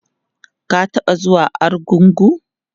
ka taɓa zuwa argungu?